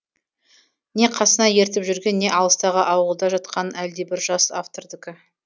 не қасына ертіп жүрген не алыстағы ауылда жатқан әлдебір жас автордікі